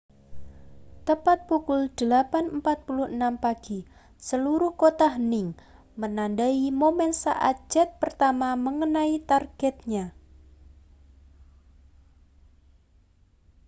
tepat pukul 08.46 pagi seluruh kota hening menandai momen saat jet pertama mengenai targetnya